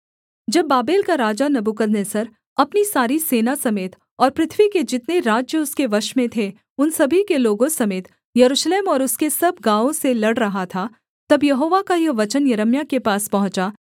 जब बाबेल का राजा नबूकदनेस्सर अपनी सारी सेना समेत और पृथ्वी के जितने राज्य उसके वश में थे उन सभी के लोगों समेत यरूशलेम और उसके सब गाँवों से लड़ रहा था तब यहोवा का यह वचन यिर्मयाह के पास पहुँचा